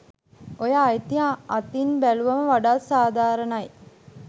ඔය අයිතිය අතින් බැලුවම වඩාත් සාධාරණයි.